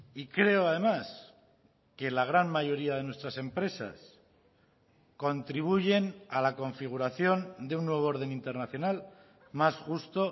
y creo además que la gran mayoría de nuestras empresas contribuyen a la configuración de un nuevo orden internacional más justo